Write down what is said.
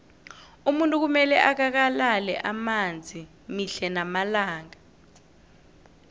umuntu kumele akakalale amanzi mihle namalanga